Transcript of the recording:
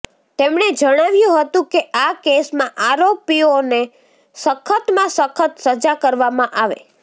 તેમણે જણાવ્યું હતું કે આ કેસમાં આરોપીઓને સખતમાં સખત સજા કરવામાં આવે